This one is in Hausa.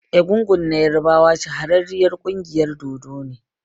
Egungun na ƴarbawa m shahararriyar ƙungiyar dodo ne.